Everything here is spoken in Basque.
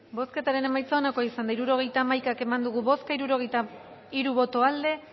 bozketaren emaitza onako izan da hirurogeita hamaika eman dugu bozka hirurogeita hiru boto aldekoa